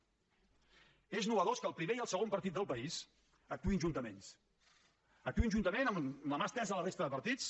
és nou que el primer i el segon partit del país actuïn juntament actuïn juntament amb la mà estesa a la resta de partits